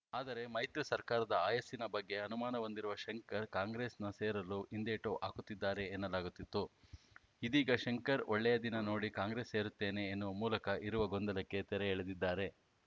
ಆದರೆ ಮೈತ್ರಿ ಸರ್ಕಾರದ ಆಯಸ್ಸಿನ ಬಗ್ಗೆ ಅನುಮಾನ ಹೊಂದಿರುವ ಶಂಕರ್‌ ಕಾಂಗ್ರೆಸ್‌ನ ಸೇರಲು ಹಿಂದೇಟು ಹಾಕುತ್ತಿದ್ದಾರೆ ಎನ್ನಲಾಗಿತ್ತು ಇದೀಗ ಶಂಕರ್‌ ಒಳ್ಳೆಯ ದಿನ ನೋಡಿ ಕಾಂಗ್ರೆಸ್‌ ಸೇರುತ್ತೇನೆ ಎನ್ನುವ ಮೂಲಕ ಇರುವ ಗೊಂದಲಕ್ಕೆ ತೆರೆ ಎಳೆದಿದ್ದಾರೆ